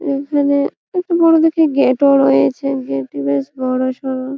এখানে একটি বড়ো দেখে গেট -ও রয়েছে গেট -টি বেশ বড়োসড়ো।